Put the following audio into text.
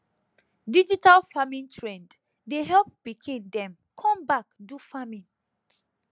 digital farming trend dey help pikin dem come back do farming